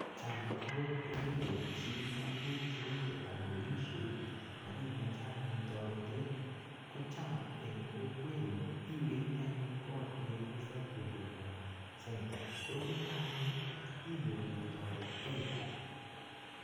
Cham agot ko kebet chi tuguk cheu kitambolishoit ak imoche anyun toretet kocham eng kokwenyu iwendi anyun kot nekikisir huduma centre. Yuto anyun inyoru toretet.